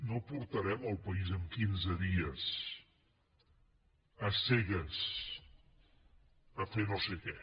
no portarem el país en quinze dies a cegues a fer no sé què